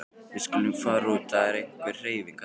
Við skulum fara út því það er einhver hreyfing þarna.